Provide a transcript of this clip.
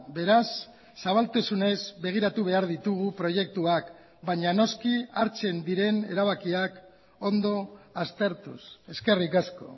beraz zabaltasunez begiratu behar ditugu proiektuak baina noski hartzen diren erabakiak ondo aztertuz eskerrik asko